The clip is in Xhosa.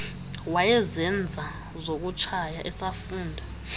wayezenza zokutshaya esafunda